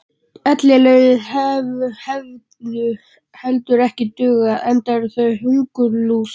Ellilaunin hefðu heldur ekki dugað, enda eru þau hungurlús.